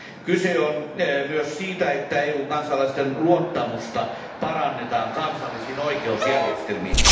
Kyse on myös siitä, että EU kansalaisten luottamusta parannetaan kansallisiin oikeusjärjestelmiin.